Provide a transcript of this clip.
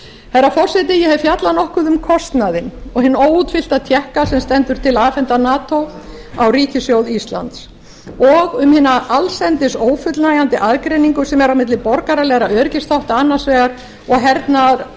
herra forseti ég hef fjallað nokkuð um kostnaðinn og hinn óútfyllta tékka sem stendur til að afhenda nato á ríkissjóð íslands og um hina allsendis ófullnægjandi aðgreiningu sem er á milli borgaralegra öryggisþátta annars vegar og